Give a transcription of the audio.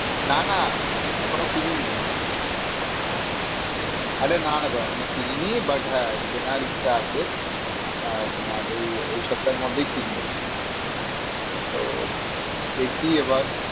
না না এখনো কিনিনি। আরে না না গো এখনো কিনিনি but হ্যাঁ কেনার ইচ্ছা আছে। আহ তোমার ওই এই সপ্তার মধ্যেই কিনবো। তো দেখি এবার